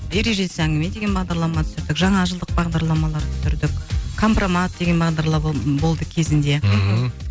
ережесіз әңгіме деген бағдарлама түсірдік жаңа жылдық бағдарламалар түсірдік компромат деген бағдарлама болды кезінде мхм